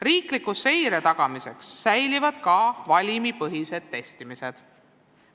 Riikliku seire tagamiseks säilib ka valimipõhine testimine.